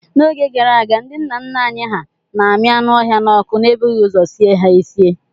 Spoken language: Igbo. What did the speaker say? N'oge gara aga, ndi nna nna anyị hà na-ami anụ ọhịa n'ọkụ n'ebughị ụzọ sie ha esie.